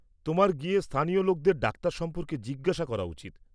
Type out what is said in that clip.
তোমার গিয়ে স্থানীয় লোকেদের ডাক্তার সম্পর্কে জিজ্ঞেস করা উচিৎ।